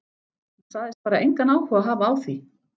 Hún sagðist bara engan áhuga hafa á því.